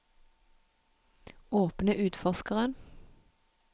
åpne utforskeren